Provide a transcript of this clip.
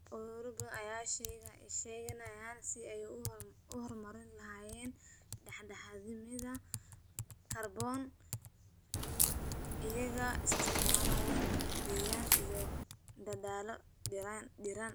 Ururo badan ayaa ka shaqaynaya sidii ay u horumarin lahaayeen dhexdhexaadnimada kaarboon iyaga oo isticmaalaya dhirayn iyo dadaallo dhirayn ah.